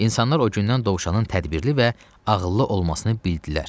İnsanlar o gündən Dovşanın tədbirli və ağıllı olmasını bildilər.